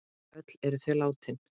Öll eru þau látin.